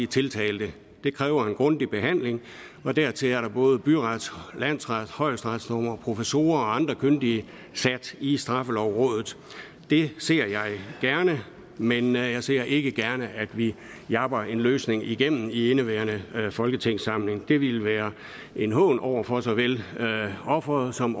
tiltalte det kræver en grundig behandling og derfor sidder der både byrets landsrets og højesteretsdommere og professorer og andre kyndige i straffelovrådet det ser jeg gerne men jeg ser ikke gerne at vi japper en løsning igennem i indeværende folketingssamling det ville være en hån over for såvel offeret som